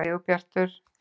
Sigurbjartur